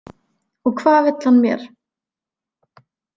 Og hvað vill hann mér?